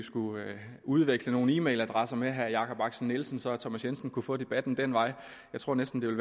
udveksle nogle e mail adresser med herre jakob axel nielsen så thomas jensen kunne få debatten den vej jeg tror næsten at